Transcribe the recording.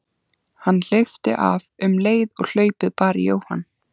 Hann hleypti af um leið og hlaupið bar í Jóhann.